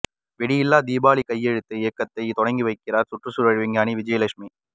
வெடியில்லா தீபாவளி கையெழுத்து இயக்கத்தைத் தொடங்கி வைக்கிறார் சுற்றுச்சூழல் விஞ்ஞானி விஜயலட்சுமி